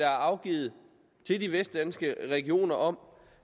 afgivet til de vestdanske regioner om